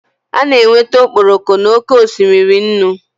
A na-enweta okporoko n'oké osimiri nnu